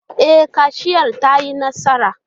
E, kaciyar ta yi nasara.